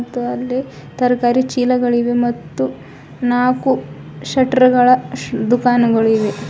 ಮತ್ತು ಅಲ್ಲಿ ತರಕಾರಿ ಚೀಲಗಳಿವೆ ಮತ್ತು ನಾಕು ಶೆಟ್ಟರ್ ಗಳ ದುಖಾನುಗಳು ಇವೆ.